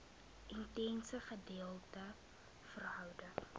intense gedeelde verhouding